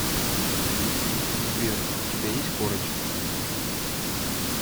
сбер у тебя есть корочки